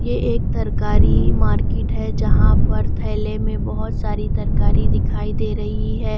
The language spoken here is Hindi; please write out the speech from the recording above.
ये एक तरकारी मार्केट है जहां पर एक थैले में बहोत सारी तरकारी दिखाई दे रही है।